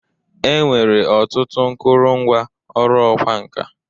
E nwere ọtụtụ nkụrụngwa ọrụ ọkwa nka.